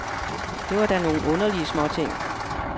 Det var da nogle underlige småting.